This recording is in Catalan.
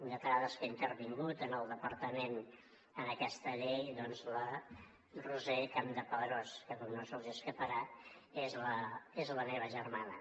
lletrada que ha intervingut en el departament en aquesta llei doncs la roser campdepadrós que com no se’ls deu escapar és la meva germana